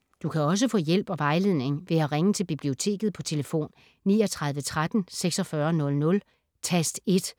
Du kan også få hjælp og vejledning ved at ringe til Biblioteket på tlf. 39 13 46 00, tast 1.